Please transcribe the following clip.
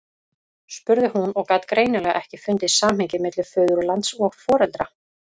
spurði hún og gat greinilega ekki fundið samhengið milli föðurlands og foreldra.